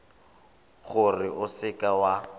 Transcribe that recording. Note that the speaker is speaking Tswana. gore o seka w a